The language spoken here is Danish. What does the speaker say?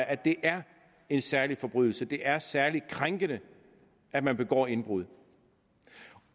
at det er en særlig forbrydelse at det er særlig krænkende at man begår indbrud